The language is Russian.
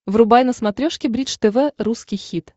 врубай на смотрешке бридж тв русский хит